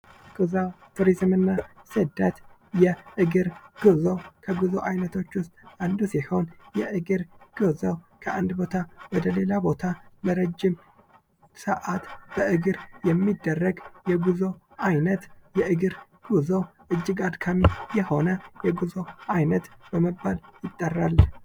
ቱሪዝም የኢኮኖሚ እድገትን የሚያበረታታ ሲሆን ጉዞ የግል ልምድን ያሰፋል። ስደት አዳዲስ ማህበረሰቦችን በመፍጠር የባህል ልውውጥን ያመጣል